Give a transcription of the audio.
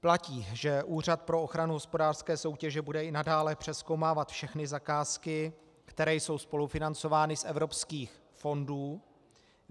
Platí, že Úřad pro ochranu hospodářské soutěže bude i nadále přezkoumávat všechny zakázky, které jsou spolufinancovány z evropských fondů.